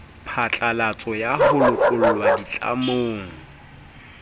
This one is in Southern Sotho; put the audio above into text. phatlalatso ya ho lokollwa ditlamong